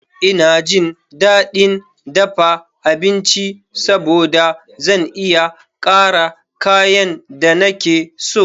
Ina jin daɗin dafa abinci saboda zan iya ƙara kayan da nake so.